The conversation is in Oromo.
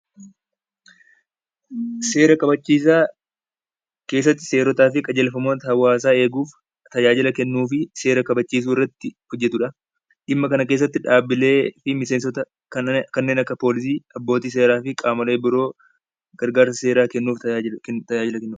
Seera kabachiisaa keessatti seeraa fi qajeelfamoota hawaasa eeguuf tajaajila kennuu fi seera kabachiisuu irratti hojjetudha. Dhimma kana keessatti dhaabbilee fi miseensota abbootii seeraa, poolisii fi kanneen biroo keessatti tajaajila seeraa kennanidha.